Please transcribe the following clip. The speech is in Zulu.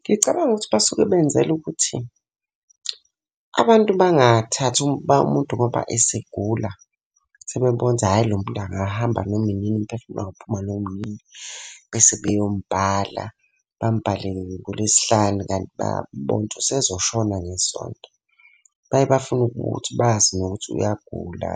Ngicabanga ukuthi basuke benzela ukuthi, abantu bangathathi umuntu ngoba esegula, sebebona ukuthi hhayi lo muntu angahamba noma inini, umphefumulo ungaphuma noma inini. Bese beyomubhala, bamubhale ngoLwesihlanu kanti bayabona ukuthi usezoshona ngeSonto. Baye bafune ukuthi bazi nokuthi uyagula,